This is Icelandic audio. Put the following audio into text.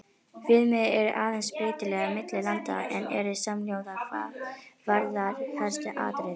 Viðmið eru aðeins breytileg milli landa en eru samhljóða hvað varðar helstu atriði.